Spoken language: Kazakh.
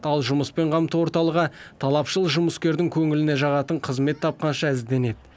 ал жұмыспен қамту орталығы талапшыл жұмыскердің көңіліне жағатын қызмет тапқанша ізденеді